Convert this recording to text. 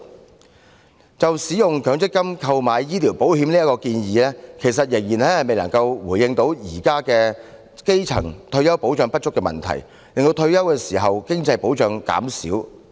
另一方面，使用強積金權益購買醫療保險的建議，其實仍然未能回應現時基層市民退休保障不足的問題，更會令退休時的經濟保障減少。